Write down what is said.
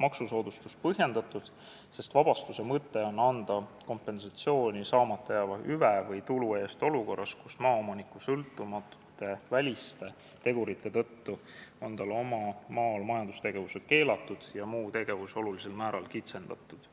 maksusoodustus põhjendatud, sest vabastuse mõte on anda kompensatsiooni saamata jääva hüve või tulu eest olukorras, kus maaomanikust sõltumatute väliste tegurite tõttu on tal oma maal majandustegevus keelatud ja muu tegevus olulisel määral kitsendatud.